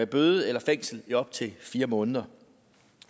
bøde eller fængsel i op til fire måneder